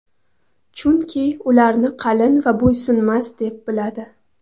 Chunki ularni qalin va bo‘ysunmas deb biladi.